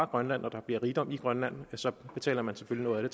grønland og der bliver rigdom i grønland så betaler man selvfølgelig